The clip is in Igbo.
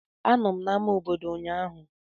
Anọ m na ama obodo ụnyaahụ.